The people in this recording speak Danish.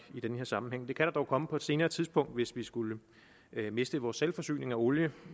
i den her sammenhæng det kan der dog komme på et senere tidspunkt hvis vi skulle miste vores selvforsyning af olie